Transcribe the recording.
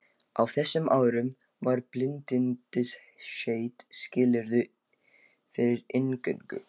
Á þessum árum var bindindisheit skilyrði fyrir inngöngu.